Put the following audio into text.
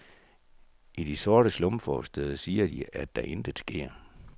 I de sorte slumforstæder siger de, at der intet sker.